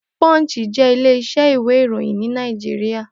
Punch jé ilé isẹ́ ìwé ìròyìn ní Naijiria